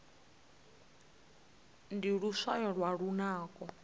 ndi luswayo lwa lunako